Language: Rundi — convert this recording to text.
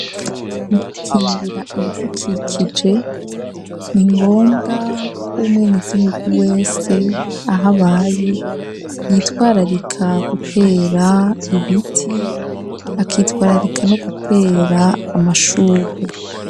Mu gukingira ibidukikije ni ngombwa k'umwenegihugu wese ahabaye yitwararika gutera ibiti ,akitwararika no gutera amashurwe.